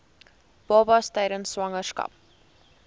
babas tydens swangerskap